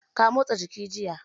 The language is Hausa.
Ka motsa jiki jiya?